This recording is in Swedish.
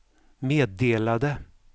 meddelade